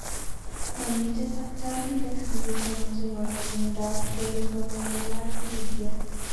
Momiten takitorindet negisomanji konya miondap erythromelalgia.